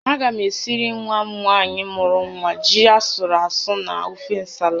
Aga m esiri nwa m nwaanyị mụrụ nwa ji asụrụ asụ na ofe ǹsàlà